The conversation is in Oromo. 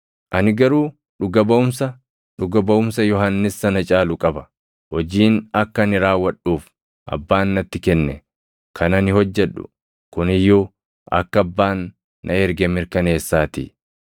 “Ani garuu dhuga baʼumsa, dhuga baʼumsa Yohannis sana caalu qaba. Hojiin akka ani raawwadhuuf Abbaan natti kenne, kan ani hojjedhu kun iyyuu akka Abbaan na erge mirkaneessaatii.